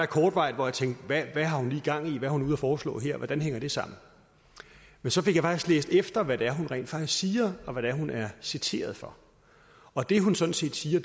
kortvarigt tænkte hvad har hun lige gang i hvad er hun ude at foreslå her hvordan hænger det sammen men så fik jeg læst efter hvad det er hun rent faktisk siger og hvad hun er citeret for og det hun sådan set siger